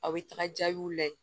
A bɛ taga jaabiw lajɛ